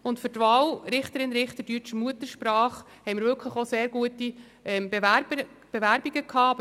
Für die Wahl Richterin oder Richter deutscher Muttersprache haben wir wirklich sehr gute Bewerbungen erhalten.